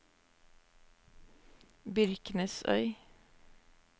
Byrknesøy